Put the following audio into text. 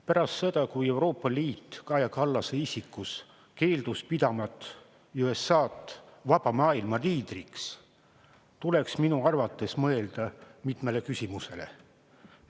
Pärast seda, kui Euroopa Liit Kaja Kallase isikus keeldus pidamast USA‑d vaba maailma liidriks, tuleks minu arvates mõelda mitmele küsimusele.